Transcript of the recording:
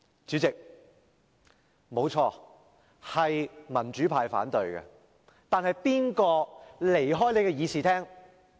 主席，不錯，方案是由民主派反對的，但誰離開會議廳？